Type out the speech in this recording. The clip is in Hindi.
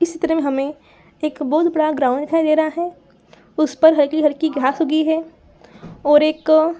इस चित्र मे हमे एक बहुत बड़ा ग्राउंड दिखाई दे रहा है उस पर हल्की हल्की घास उगी है और एक अ --